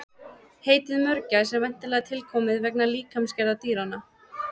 Heitið mörgæs er væntanlega tilkomið vegna líkamsgerðar dýranna.